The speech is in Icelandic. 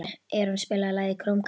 Eron, spilaðu lagið „Krómkallar“.